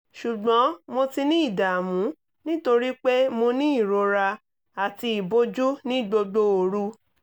ṣùgbọ́n mo ti ní ìdààmú nítorí pé mo ní ìrora àti ìbòjú ní gbogbo òru